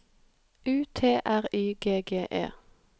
U T R Y G G E